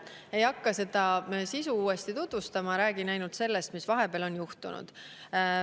Ei hakka seda sisu uuesti tutvustama, räägin ainult sellest, mis vahepeal on juhtunud.